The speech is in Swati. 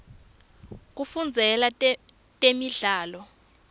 kufundzela temidlalo